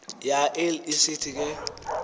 yael isithi ke